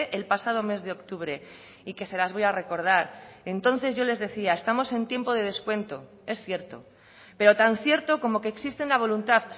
el pasado mes de octubre y que se las voy a recordar entonces yo les decía estamos en tiempo de descuento es cierto pero tan cierto como que existe una voluntad